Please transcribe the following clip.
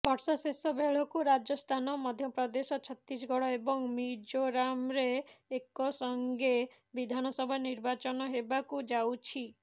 ବର୍ଷ ଶେଷ ବେଳକୁ ରାଜସ୍ଥାନ ମଧ୍ୟ ପ୍ରଦେଶ ଛତିଶଗଡ଼ ଏବଂ ମିଜୋରାମ୍ରେ ଏକସଂଗେ ବିଧାନସଭା ନିର୍ବାଚନ ହେବାକୁ ଯାଉଛି